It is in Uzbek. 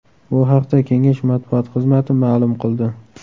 Bu haqda kengash matbuot xizmati ma’lum qildi .